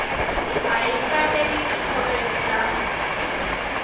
a i kateli khovhe dza